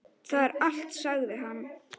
Það er allt, sagði hann.